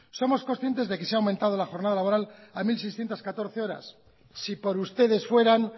somos conscientes que se ha aumentado la jornada laboral a mil seiscientos catorce horas si por ustedes fueran